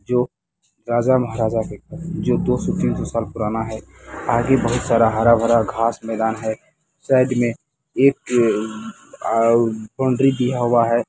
--जो राजा महाराजा के घर जो दो सौ तीन सौ साल पुराना है आगे बहुत सारा हरा-भार घास मैदान है साइड मे एक जो बॉउन्ड्री दिया हुआ है।